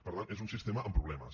per tant és un sistema amb problemes